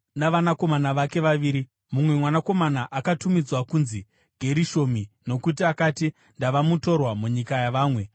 navanakomana vake vaviri. Mumwe mwanakomana akatumidzwa kunzi Gerishomi nokuti akati, “Ndava mutorwa munyika yavamwe;”